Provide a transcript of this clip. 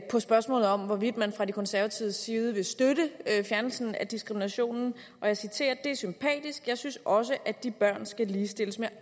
på spørgsmålet om hvorvidt man fra de konservatives side vil støtte fjernelsen af diskriminationen det er sympatisk jeg synes også at de børn skal ligestilles med